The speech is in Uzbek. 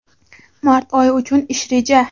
Mart oyi uchun ish reja.